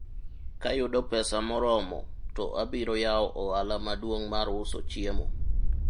kayudo pesa moromo to abiro yawo ohala maduong' mar uso chiemo